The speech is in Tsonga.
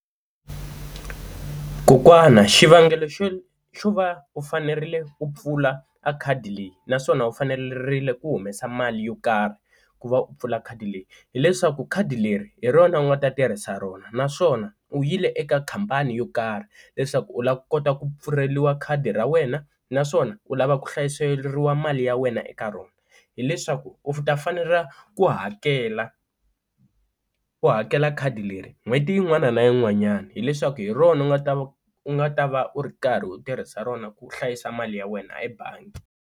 Kokwana xivangelo xo xo va u fanerile u pfula a khadi leyi naswona u fanerile ku humesa mali yo karhi ku va u pfula khadi leyi, hileswaku khadi leri hi rona u nga ta tirhisa rona naswona u yile eka khampani yo karhi leswaku u lava ku kota ku pfuleriwa khadi ra wena naswona u lava ku hlayiseriwa mali ya wena eka rona, hileswaku u ta fanela ku hakela u hakela khadi leri n'hweti yin'wana na yin'wanyana hileswaku hi rona u nga ta va u nga ta va u ri karhi u tirhisa rona ku hlayisa mali ya wena ebangi.